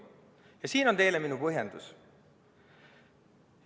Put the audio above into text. Ja siin on teile minu põhjendus.